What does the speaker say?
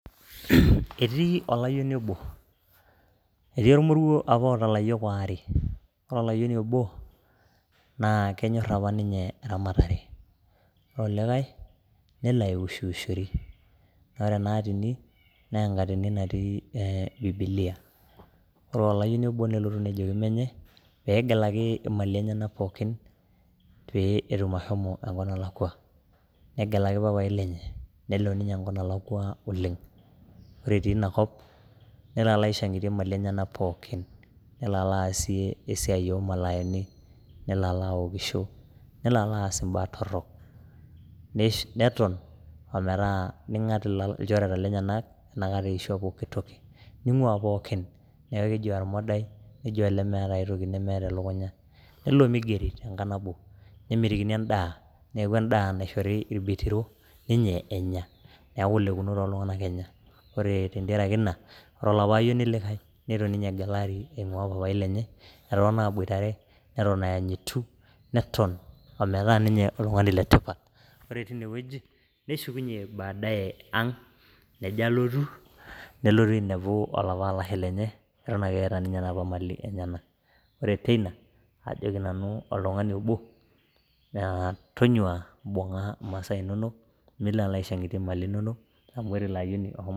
Etii olayoni obo etii ormoruo apa oata ilayiok aare, ore olayieni obo naa kenyor apa ninye eramatare ore olikai nelo aiwushwushori naa ore ena atini naa enkatini natii bibilia. Ore olayieni obo nelotu nejoki menye pee egelaki imalin enyenak pookin pee etum ashomo enkop nalakua. Negelaki papai lenye nelo ninye enkop nalakua oleng'. Ore etii ina kop nelo alo aishang'itie mali enyenak pookin, nelo alo aasie easia o malayani, nelo alo awokisho, nelo alo aas imbaa torok, neton ometaa ning'at ilchoreta lenyenak inakata eishua pookin toki. Ning'ua pookin, neeku eji ormodai neji olemeeta ai toki nemeeta elukunya . Nelo migeri tenkang' nabo nemitikini endaa, neeku endaa naishori irbitiro ninye enya neeku ilekunot oltung'anak ninye enya. Ore tentiaraki ina ore olapa ayioni likae nitu ninye egelari aing'ua papai lenye, etotona aboitare, neton ayanyitu neton ometaa ninye oltung'ani letipat. Ore tine wueji neshukunye baadaye ang' nejo alotu, nelotu ainepu olapa alashe lenye eton ake eeta napa malin enyenak. Ore teina ajoki nanu oltung'ani obo tonyua mbung'a masaa inonok milo aishang'itie malin inonok, amu ore ilo ayioni oshomo...